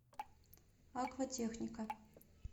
акватехника